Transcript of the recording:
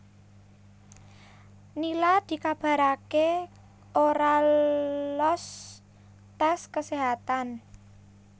Nila dikabaraké ora loos tes keséhatan